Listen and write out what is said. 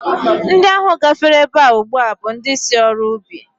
Ndị ahụ gafere ebe a ugbu a bụ ndị si ọrụ ubi